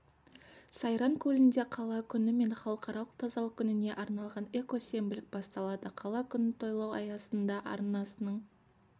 сайран көлінде қала күні мен халықаралық тазалық күніне арналған эко-сенбілік басталады қала күнін тойлау аясында арнасының